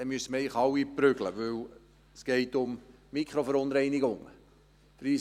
Dann müssten wir eigentlich alle verprügeln, weil es um Mikroverunreinigungen geht.